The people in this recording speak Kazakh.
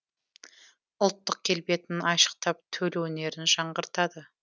ұлттық келбетін айшықтап төл өнерін жаңғыртады